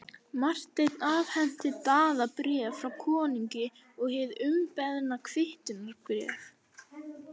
Marteinn afhenti Daða bréf frá konungi og hið umbeðna kvittunarbréf.